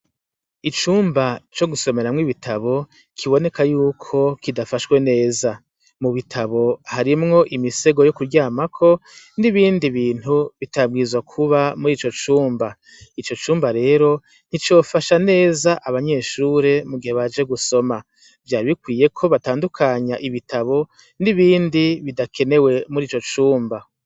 Icumba co gusomeramwo ibitabo, kiboneko y'uko kidafashwe neza. Mu bitabo harimwo imisego yo kuryamako n'ibindi bintu bitabwirizwa kuba muri ico cumba. Ico cumba rero, nticofasha neza abanyeshure mu gihe baje gusoma. Vyari bikwiye ko batandukanya ibitabo n'ibindi bidakenewe muri ico cumba.